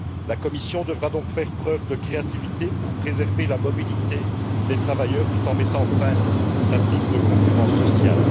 La Commission devra donc faire preuve de créativité pour préserver la mobilité des travailleurs tout en mettant fin aux pratiques de concurrence sociale.